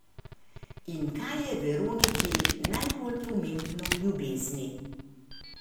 In kaj je Veroniki najbolj pomembno v ljubezni?